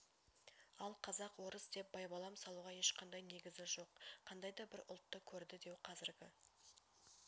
ал қазақ орыс деп байбалам салуға ешқандай негізі жоқ қандайда бір ұлтты көрді деу қазіргі